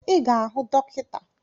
I ga-ahụ dọkịta